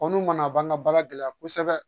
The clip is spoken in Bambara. n'u ma na o b'an ka baara gɛlɛya kosɛbɛ